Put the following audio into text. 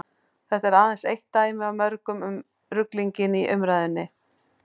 þetta er aðeins eitt dæmi af mörgum um ruglinginn í umræðunni